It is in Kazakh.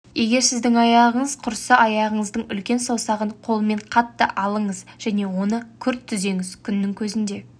егер сіздің аяғыңыз құрысса аяғыңыздың үлкен саусағын қолмен қатты алыңыз және оны күрт түзеңіз күннің көзінде